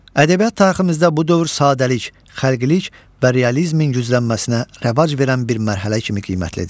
Ədəbiyyat tariximizdə bu dövr sadəlik, xəlqilik və realizmin güclənməsinə rəvac verən bir mərhələ kimi qiymətlidir.